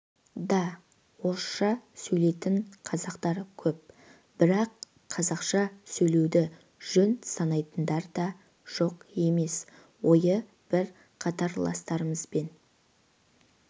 да орысша сөйлейтін қазақтар көп бірақ қазақша сөйлеуді жөн санайтындар да жоқ емес ойы бір қатарластарымызбен